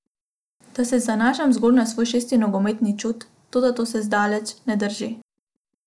Da se zanašam zgolj na svoj šesti nogometni čut, toda to še zdaleč ne drži.